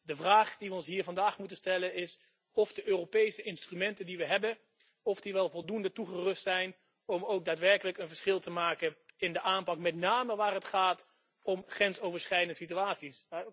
De vraag die we ons hier vandaag moeten stellen is of de Europese instrumenten die we hebben, wel voldoende toegerust zijn om ook daadwerkelijk een verschil te maken in de aanpak, met name waar het gaat om grensoverschrijdende situaties.